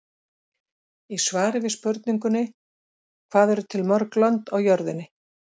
Í svari við spurningunni Hvað eru til mörg lönd á jörðinni?